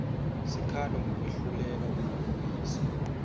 sikhalo ngekwehluleka kwemaphoyisa